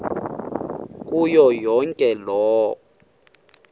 kuyo yonke loo